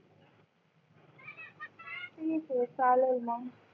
ठीक आहे चालेल मग